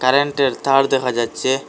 কারেন্টের তার দেখা যাচ্ছে।